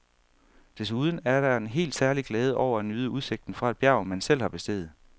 Desuden er der en helt særlig glæde over at nyde udsigten fra et bjerg, man selv har besteget.